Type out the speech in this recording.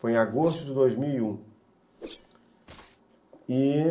Foi em agosto de dois mil e um, e...